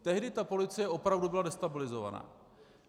Tehdy ta policie opravdu byla destabilizovaná.